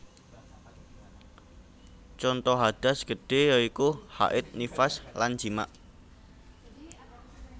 Conto hadas gede yaitu haid nifas lan jimak